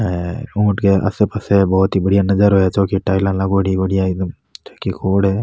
अर ऊट के आसे पासे बहोत ही बढ़िया नजारा है चौकियां टाइल लागोड़ी है --